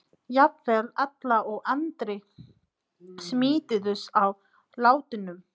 Jafnvel Alla og Andri smituðust af látunum.